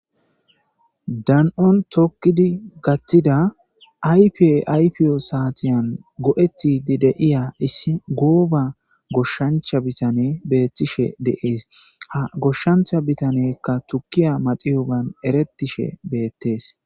dan7on tokkidi gattida aypi aypiyo saatiyan go7etidi de'iya issi gooba goshshancha bitane beettishe deees ha goshshancha bitanekka tukkiya maxiyogan eretishe beettees